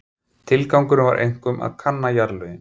Tilgangurinn var einkum að kanna jarðlögin.